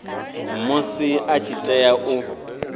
musi a tshi tea u